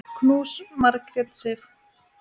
Knús, Margrét Sif.